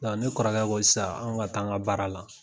ne kɔrɔkɛ ko sisan an ka taa an ka baara la.